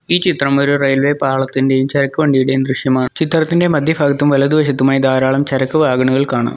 ഈ ചിത്രം ഒരു റെയിൽവേ പാളത്തിന്റെയും ചരക്ക് വണ്ടിയുടെയും ദൃശ്യമാണ് ചിത്രത്തിന്റെ മധ്യ ഭാഗത്തും വലതു വശത്തുമായി ധാരാളം ചരക്ക് വാഹനങ്ങൾ കാണാം.